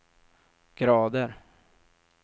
grader